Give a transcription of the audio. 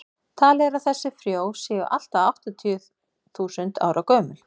talið er að þessi frjó séu allt að áttatíu þúsund ára gömul